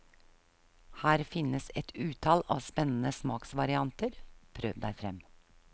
Her finnes et utall av spennende smaksvarianter, prøv deg frem.